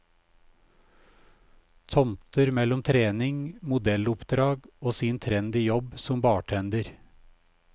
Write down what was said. Tomter mellom trening, modelloppdrag og sin trendy jobb som bartender.